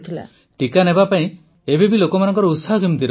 ପ୍ରଧାନମନ୍ତ୍ରୀ ଟିକା ନେବାକୁ ଏବେ ବି ଲୋକମାନଙ୍କର ଉତ୍ସାହ କେମିତି ଅଛି